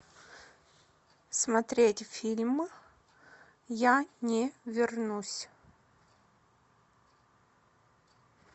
смотреть фильм я не вернусь